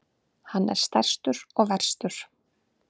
Hann er stærstur og verstur.